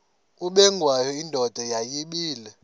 ubengwayo indoda yayibile